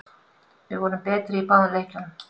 Við vorum betri í báðum leikjunum